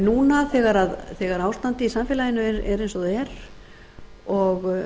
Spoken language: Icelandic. núna þegar ástandið í samfélaginu er eins og það er og